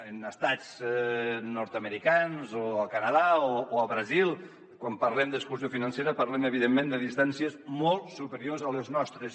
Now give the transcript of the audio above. en estats nord americans o al canadà o al brasil quan parlem d’exclusió financera parlem evidentment de distàncies molt superiors a les nostres